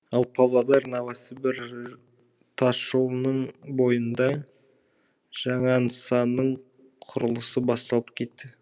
ал павлодар новосібір тасжолының бойында жаңа нысанның құрылысы басталып кетті